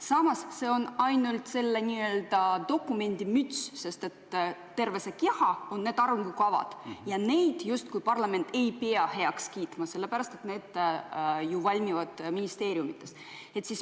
Samas on see ainult selle dokumendi n-ö müts, sest terve see keha on need arengukavad ja neid justkui parlament ei pea heaks kiitma, sellepärast et need valmivad ju ministeeriumides.